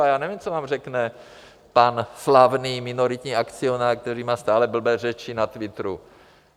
A já nevím, co vám řekne pan slavný minoritní akcionář, který má stále blbé řeči na twitteru.